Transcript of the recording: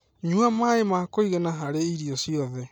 Nyua maĩ ma kũigana harĩ irio ciothe.